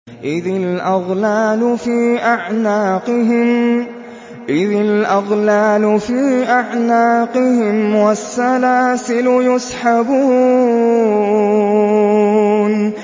إِذِ الْأَغْلَالُ فِي أَعْنَاقِهِمْ وَالسَّلَاسِلُ يُسْحَبُونَ